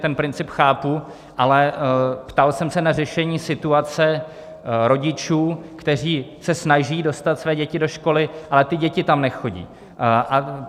Ten princip chápu, ale ptal jsem se na řešení situace rodičů, kteří se snaží dostat své děti do školy, ale ty děti tam nechodí.